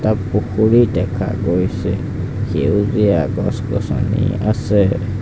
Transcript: তাত পুখুৰী দেখা গৈছে সেউজীয়া গছ-গছনি আছে।